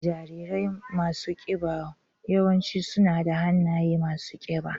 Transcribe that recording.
Jarirai masu kiba yawanci suna da hannaye masu kiba.